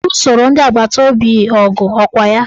Ọ lusoro ndị agbataobi ọgụ ọkwa ya?